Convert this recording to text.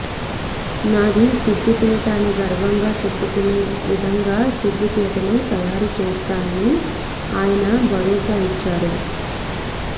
నాది సిద్దిపేట అని గర్వంగా చెప్పుకునే విధంగా సిద్దిపేటను తయారు చేస్తానని ఆయన భరోసా ఇచ్చారు